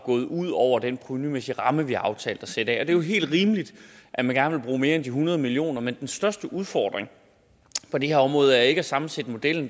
gået ud over den provenumæssige ramme vi har aftalt at sætte af det er jo helt rimeligt at man gerne vil bruge mere end de hundrede million kroner den største udfordring for det her område er ikke at sammensætte modellen